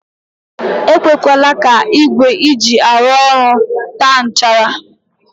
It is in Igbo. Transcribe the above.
E kwekwele ka igwe i ji arụ ọrụ taa nchara.